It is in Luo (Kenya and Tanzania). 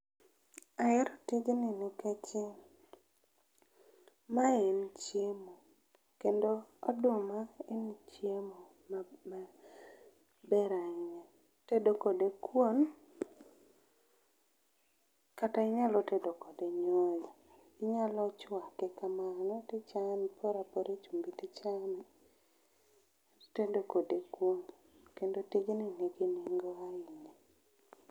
Ahero tijni nikeche ma en chiemo. Kendo oduma en chiemo maber ma ber ahinya. Itedo kode kuon kata inyalo tedo kode nyoyo. Inyalo chwake kamano, tichame iporapora e chumbi tichame tedo kode kuon, kendo tijni nigi nengo ahinya